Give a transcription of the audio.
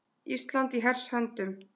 Ísland í hers höndum.